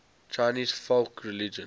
chinese folk religion